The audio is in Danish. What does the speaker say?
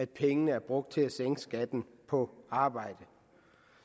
pengene er brugt til at sænke skatten på arbejde